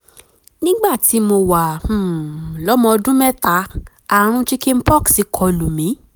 nígbà tí mo wà um lọ́mọ ọdún mẹ́ta ààrùn chicken pox kọlù mí